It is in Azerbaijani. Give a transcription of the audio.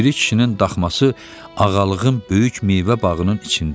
Piri kişinin daxması Ağalığın böyük meyvə bağının içində idi.